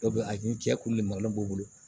Dɔw bɛ a ni cɛ kulubaliw b'u bolo